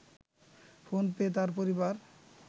phone পেয়ে তার পরিবার